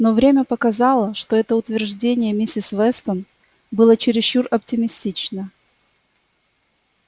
но время показало что это утверждение миссис вестон было чересчур оптимистично